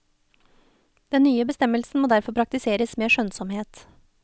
Den nye bestemmelsen må derfor praktiseres med skjønnsomhet.